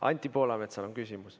Anti Poolametsal on küsimus.